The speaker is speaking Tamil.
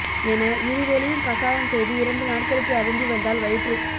என இருவேளையும் கஷாயம் செய்து இரண்டு நாட்களுக்கு அருந்தி வந்தால் வயிற்று